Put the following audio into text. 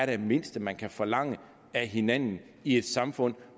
det mindste man kan forlange af hinanden i et samfund